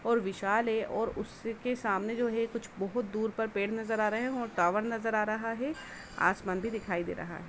और विशाल ए और उसके सामने जो है कुछ बोहुत दूर पर पेड़ नजर आ रहे हैं और टावर नजर आ रहा है। आसमान भी दिखाई दे रहा है।